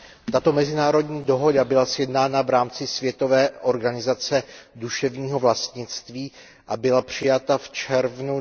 Tato mezinárodní dohoda byla sjednána v rámci Světové organizace duševního vlastnictví a byla přijata v červnu